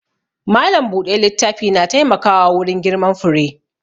Malam buɗe littafi na taimkawa wurin girman fure